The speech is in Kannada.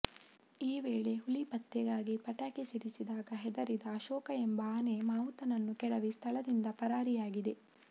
ಈ ವೇಳೆ ಹುಲಿ ಪತ್ತೆಗಾಗಿ ಪಟಾಕಿ ಸಿಡಿಸಿದಾಗ ಹೆದರಿದ ಅಶೋಕ ಎಂಬ ಆನೆ ಮಾವುತನನ್ನು ಕೆಡವಿ ಸ್ಥಳದಿಂದ ಪರಾರಿಯಾಗಿದೆ